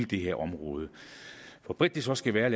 det her område hvor bredt det så skal være